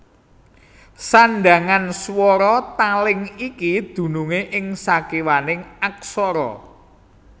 Sandhangan swara taling iki dunungé ing sakiwaning aksara